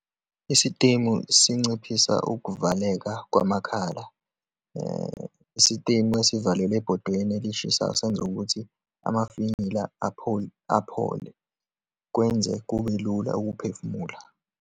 Isitimu sinciphisa ukuvaleka kwamakhala. Isitimu esivalelwe ebhodweni elishisayo, senza ukuthi amafinyila aphole, kwenze kube lula ukuphefumula.